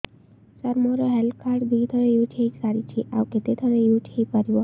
ସାର ମୋ health card ଦୁଇ ଥର ୟୁଜ଼ ହୈ ସାରିଛି ଆଉ କେତେ ଥର ୟୁଜ଼ ହୈ ପାରିବ